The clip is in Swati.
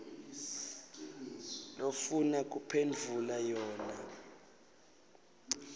lofuna kuphendvula yona